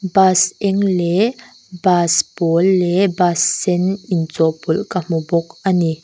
bus eng leh bus pawl leh bus sen inchawhpawlh ka hmu bawk.